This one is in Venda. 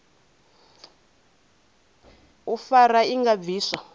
u fara i nga bviswa